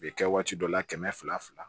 U bɛ kɛ waati dɔ la kɛmɛ fila